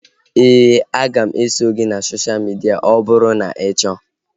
Éè, a ga m eso gị na sosha midia ọ bụrụ na ị chọọ